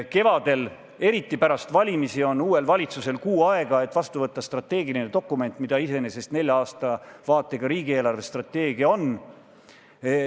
Kevadel, eriti pärast valimisi, on uuel valitsusel kuu aega, et vastu võtta strateegiline dokument, mida iseenesest nelja aasta vaatega riigi eelarvestrateegia on.